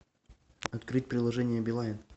открыть приложение билайн